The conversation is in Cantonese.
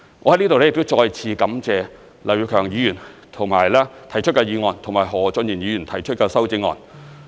我在這裏再次感謝劉業強議員提出議案和何俊賢議員提出修正案。